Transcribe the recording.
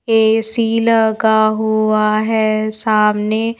AC लगा हुआ है सामने--